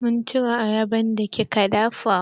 Mun cin ye ayaban da kika dafa